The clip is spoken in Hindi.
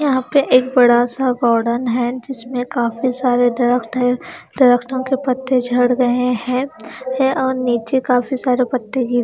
यहाँ पर एक बड़ा सा गोदान है जिसमे काफी सारे दरख्त है दरख्तो को पत्ते झड़ गए है है और नीचे काफी सारे पत्ते गिरे--